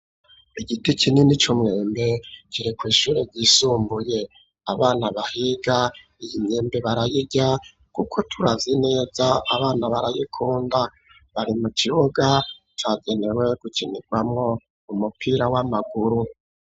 Igiti kinini c’umwembe kiri kw’ ishure ryisumbuye ,abana bahiga iyi myembe barayirya kuko turavye neza abana barayikunda ,bari mu kibuga cagenewe gukinirwamo umupira w'amaguru.